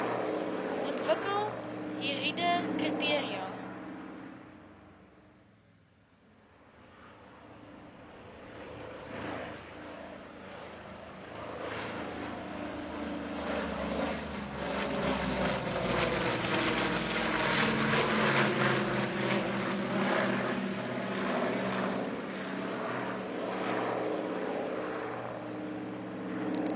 ontwikkel hieride kriteria